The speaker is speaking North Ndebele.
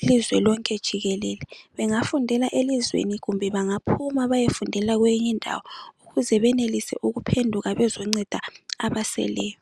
ilizwe lonke jikelele. Bengafundela elizweni kumbe bengaphuma beyofundela kweyinye indawo ukuze benelise ukuphenduka bezonceda abaseleyo.